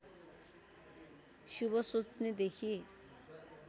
शुभ सोच्नेदेखि